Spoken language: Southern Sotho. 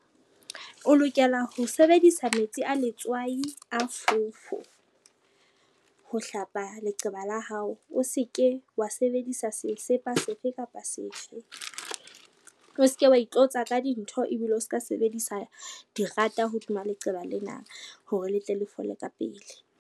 O lokela ho sebedisa metsi a letswai a fofo, ho hlapa leqeba la hao. O se ke wa sebedisa sesepa sefe kapa sefe, o se ke wa itlotsa ka dintho ebile o ska sebedisa di rata hodima leqeba lena hore le tle le fole ka pele.